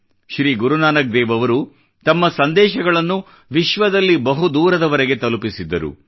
ಶ್ರೀ ಗುರುನಾನಕ್ ದೇವ್ ಅವರು ತಮ್ಮ ಸಂದೇಶಗಳನ್ನು ವಿಶ್ವದಲ್ಲಿ ಬಹು ದೂರದವರೆಗೆ ತಲುಪಿಸಿದ್ದರು